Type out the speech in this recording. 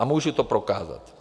A můžu to prokázat.